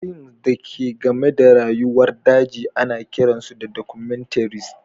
Fims da ke game da rayuwar daji ana kiran su documentaries.